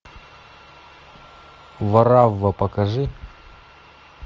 варавва покажи